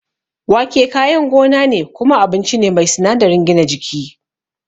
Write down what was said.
Wake kayan gona ne kuma abinci ne mai sinadarin gina jiki.